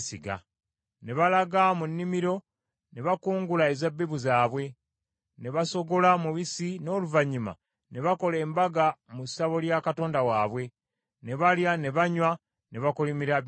Ne balaga mu nnimiro ne bakungula ezzabbibu zaabwe, ne basogola omubisi, n’oluvannyuma ne bakola embaga mu ssabo lya katonda waabwe, ne balya ne banywa ne bakolimira Abimereki.